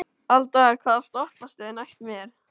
Aldar, hvaða stoppistöð er næst mér?